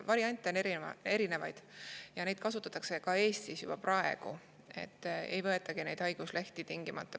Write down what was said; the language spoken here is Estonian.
Variante on erinevaid ja neid kasutatakse juba praegu ka Eestis, nii et tingimata ei võetagi haiguslehte.